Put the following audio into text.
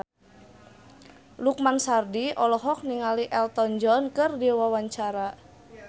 Lukman Sardi olohok ningali Elton John keur diwawancara